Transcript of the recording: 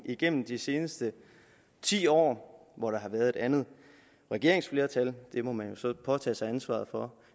igennem de seneste ti år med et andet regeringsflertal det må man jo så påtage sig ansvaret for